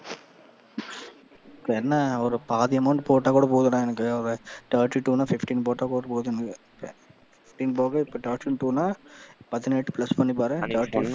என்ன ஒரு பாதி amount போட்டா கூட போதும்டா எனக்கு, thirty two ன்னா fifteen போட்டா கூட போதும் எனக்கு fifteen போக இப்ப thirty two ன்னா பதினெட்டு plus பண்ணி பாரு,